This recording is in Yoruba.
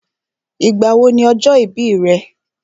Ìgbà wo ni ọjọ́ ìbí rẹ̀?